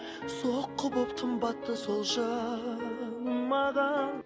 соққы болып тым батты сол жаным маған